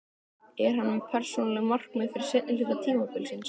Er hann með persónuleg markmið fyrir seinni hluta tímabilsins?